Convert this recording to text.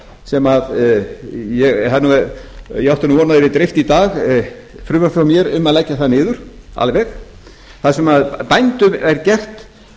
sem ég átti nú von á að yrði dreift í dag frumvarpi frá mér um að leggja það niður alveg þar sem bændum er gert